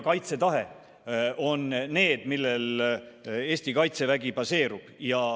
Kaitsetahe on see, millel Eesti Kaitsevägi baseerub.